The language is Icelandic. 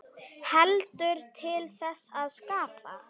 Heldur til þess að skapa.